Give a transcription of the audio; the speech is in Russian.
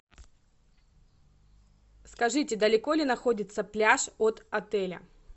скажите далеко ли находится пляж от отеля